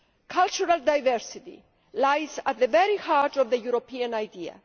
Cultural diversity lies at the very heart of the European idea.